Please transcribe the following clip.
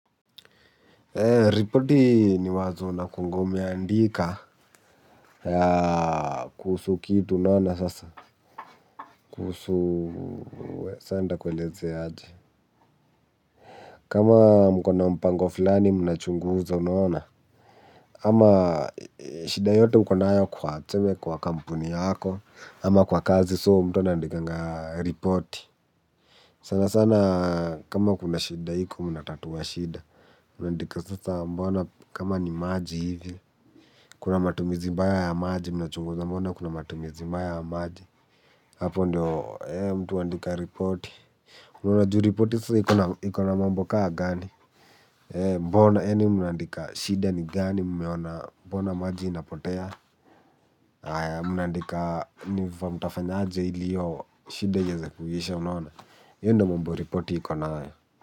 Eee, ripoti ni wazo unakungomeandika ya kuhusu kitu unaona sasa, kuhusu saa nitakweleza aje. Kama mko na mpango fulani mnachunguzwa unaona, ama shida yote ukonayo kwa tuseme kwa kampuni yako, ama kwa kazi soo mtu anandikanga ripoti. Sana sana kama kuna shida iko mnatatua shida. Mnaandika sasa mbona kama ni maji hivi. Kuna matumizi mbaya ya maji. Mnachunguza mbona kuna matumizi mbaya ya maji. Hapo ndio mtu huandika repoti, huwa juu repoti sa iko na iko na mambo kaa gani. Mbona eni munaandika shida ni gani mmeona. Mbona maji inapotea. Mnaandika niva mtafanyaje ili hiyo shida iweze kuisha unaona hiyo ndio mambo repoti iko nayo.